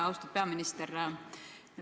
Austatud peaminister!